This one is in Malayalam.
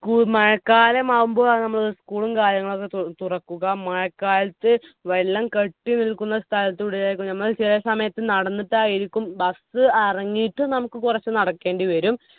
കൂ മഴക്കാലമാവുമ്പോളാണ് നമ്മൾ school ഉം കാര്യങ്ങളൊക്കെ തുറക്കുക മഴക്കാലത്ത് വെള്ളം കെട്ടിനിൽക്കുന്ന സ്ഥലത്തൂടെ ആയിരിക്കും നമ്മൾ ചില സമയത്ത് നടന്നിട്ടായിരിക്കും bus അറങ്ങിയിട്ട് നമ്മുക്ക് കുറച്ച് നടക്കേണ്ടി വരും